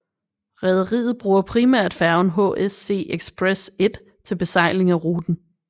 Rederiet bruger primært færgen HSC Express 1 til besejling af ruten